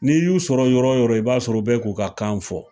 N'i y'u sɔrɔ yɔrɔ yɔrɔ ,i b'a sɔrɔ u bɛ k'u ka kan fɔ.